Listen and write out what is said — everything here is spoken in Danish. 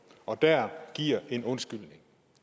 og der giver en undskyldning